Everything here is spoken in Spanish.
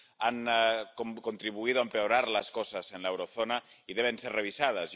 Han contribuido a empeorar las cosas en la eurozona y deben ser revisadas.